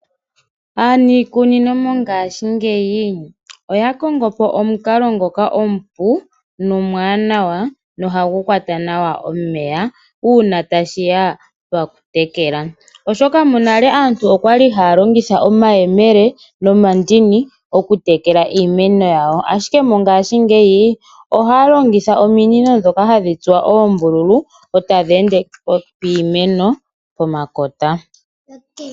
Aanikunino mongashi ngeyi oya kongopo omunkalo ngoka omupu nomwanawa nohangu kwata nawa omeya una tashiya pakutekela oshoka monale aantu okwali halongitha omayemele nomandini oku tekela iimeno yawo, ashike mongashi ngeyi ohaya longitha ominino dhoka hadhi tsuwa ombululu eta dhi ende piimeno pomakota.